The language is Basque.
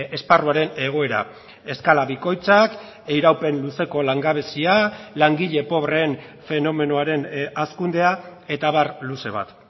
esparruaren egoera eskala bikoitzak iraupen luzeko langabezia langile pobreen fenomenoaren hazkundea eta abar luze bat